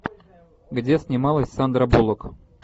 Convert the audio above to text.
где снималась сандра буллок